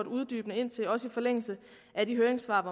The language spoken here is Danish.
uddybende ind til også i forlængelse af de høringssvar